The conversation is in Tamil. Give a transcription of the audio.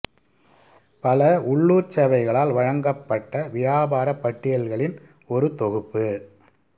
பல உள்ளூர்ச் சேவைகளால் வழங்கப்பட்ட வியாபாரப் பட்டியல்களின் ஒரு தொகுப்பு